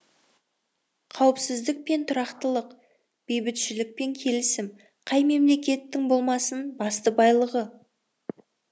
қауіпсіздік пен тұрақтылық бейбітшілік пен келісім қай мемлекеттің болмасын басты байлығы